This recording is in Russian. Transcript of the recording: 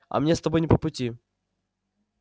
а мне с тобой не по пути